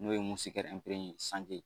N'o ye sanke.